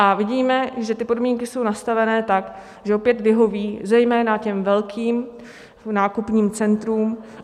A vidíme, že ty podmínky jsou nastavené tak, že opět vyhoví zejména těm velkým nákupním centrům.